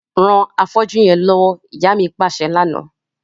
Ran afọ́jú yẹn lọwọ, ìyá mi paṣẹ lana.